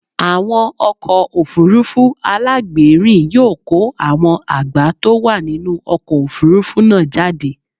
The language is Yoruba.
Àwọn ọkọ̀ òfuurufú alágbèérìn yóò kó àwọn àgbá tó wà nínú ọkọ̀ òfuurufú náà jáde.